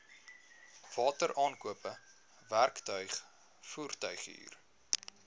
wateraankope werktuig voertuighuur